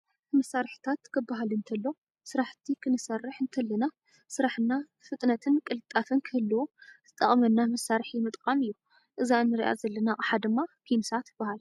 መሳሪሒታት ፦ ክባሃል እንተሎ ስራሕቲ ክንሰርሕ እንተለና ስራሕና ፍጥነትን ቅልጣፈን ክህልዎ ዝጠቅመና መሳሪሒ ምጥቃም እዩ። እዛ እንርኣ ዘለና ኣቅሓ ድማ ፒንሳ ትበሃል።